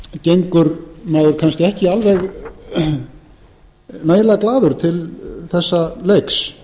gengur maður kannski ekki alveg nægilega glaður til þessa leiks